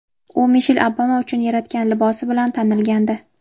U Mishel Obama uchun yaratgan libosi bilan tanilgandi.